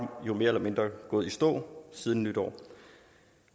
jo mere eller mindre gået i stå siden nytår